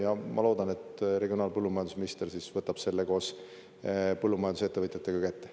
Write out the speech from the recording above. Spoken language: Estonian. Ja ma loodan, et regionaal- ja põllumajandusminister siis võtab selle koos põllumajandusettevõtjatega kätte.